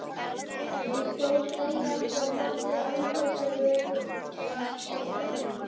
Hann stóð þegjandi og horfði án þess að virðast sjá.